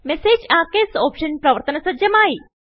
message Archivesഓപ്ഷൻ പ്രവർത്തന സജ്ജമായി